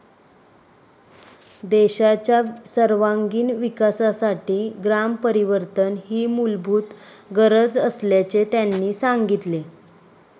देशाच्या सर्वांगिण विकासासाठी ग्रामपरिवर्तन ही मूलभूत गरज असल्याचे त्यांनी सांगितले.